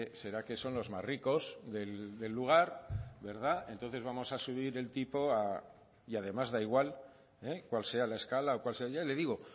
será que son los más ricos del lugar entonces vamos a subir el tipo a y además da igual cuál sea la escala o cuál sea ya le digo